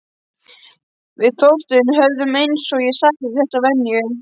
Við Þorsteinn höfðum, eins og ég sagði, þessa venju.